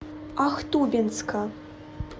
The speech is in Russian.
ахтубинска